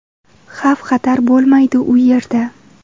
Xavf-xatar bo‘lmaydi u yerda.